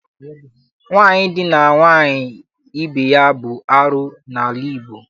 Nwaanyị idina nwaanyị ibe ya bụ arụ n'ala Igbo.